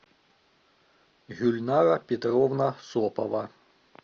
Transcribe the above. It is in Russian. гюльнара петровна сопова